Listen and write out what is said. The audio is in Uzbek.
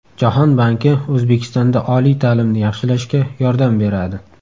Jahon banki O‘zbekistonda oliy ta’limni yaxshilashga yordam beradi .